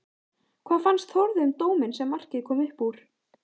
Hvað fannst Þórði um dóminn sem markið kom upp úr?